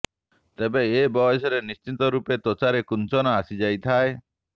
ତେଣୁ ଏ ବୟସରେ ନିଶ୍ଚିତ ଭାବେ ତ୍ୱଚାରେ କୁଂଚନ ଆସିଯାଇଥାଏ